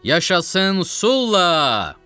Yaşasın Sulla!